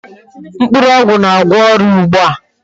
Mkpụrụ ogwu na-agwo oria ugbu a.